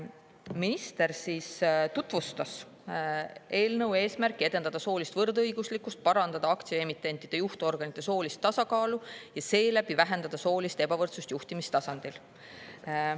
Minister tutvustas eelnõu eesmärki edendada soolist võrdõiguslikkust, parandada aktsiaemitentide juhtorganite soolist tasakaalu ja seeläbi vähendada soolist ebavõrdsust juhtimistasandil.